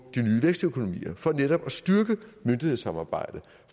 de nye vækstøkonomier for netop at styrke myndighedssamarbejdet